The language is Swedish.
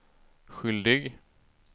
skyldig